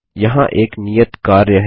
यहाँ एक नियत कार्य है